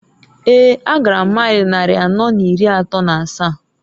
Eeǃ A gara m mail nnari anọọ n'iri atọọ n'asaa.